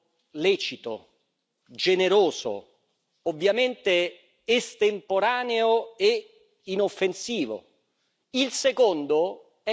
Il primo è un atto lecito, generoso, ovviamente estemporaneo e inoffensivo.